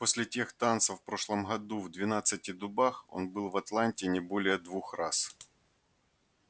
после тех танцев в прошлом году в двенадцати дубах он был в атланте не более двух раз